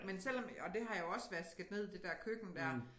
Men selvom og det har jeg jo også vasket ned det der køkken dér